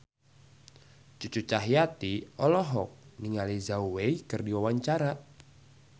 Cucu Cahyati olohok ningali Zhao Wei keur diwawancara